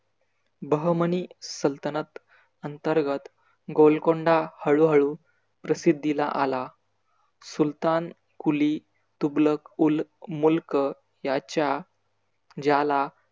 बहमनी सल्तनत अंतर्गत गोलकोंडा हळू हळू प्रसिद्धीला आला. सुलतान कुली, तुगलक उल मुल्क याच्या ज्याला